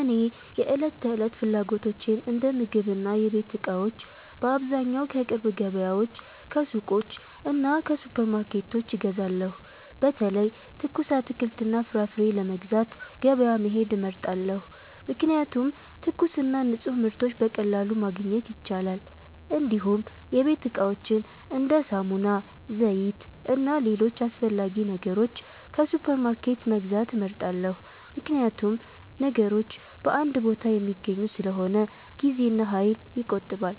እኔ የዕለት ተዕለት ፍላጎቶቼን እንደ ምግብና የቤት እቃዎች በአብዛኛው ከቅርብ ገበያዎች፣ ከሱቆች እና ከሱፐርማርኬቶች እገዛለሁ። በተለይ ትኩስ አትክልትና ፍራፍሬ ለመግዛት ገበያ መሄድ እመርጣለሁ፣ ምክንያቱም ትኩስና ንፁህ ምርቶች በቀላሉ ማግኘት ይቻላል። እንዲሁም የቤት እቃዎችን እንደ ሳሙና፣ ዘይት እና ሌሎች አስፈላጊ ነገሮች ከሱፐርማርኬት መግዛት እመርጣለሁ፣ ምክንያቱም ነገሮች በአንድ ቦታ የሚገኙ ስለሆነ ጊዜና ኃይል ይቆጠባል።